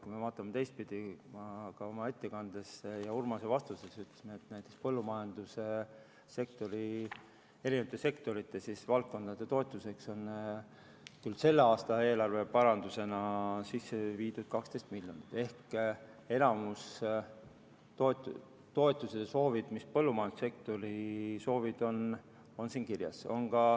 Kui me vaatame teistpidi, ma ka oma ettekandes ja Urmasele vastates ütlesin, et näiteks põllumajandussektori erinevate valdkondade toetuseks selle aasta eelarve parandusena sisse viidud 12 miljonit eurot ehk enamik toetusesoove, mis põllumajandussektoril on, on siin kirjas.